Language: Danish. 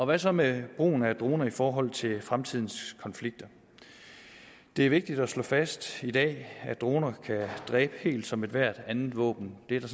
hvad så med brugen af droner i forhold til fremtidens konflikter det er vigtigt at slå fast i dag at droner kan dræbe helt som ethvert andet våben det er der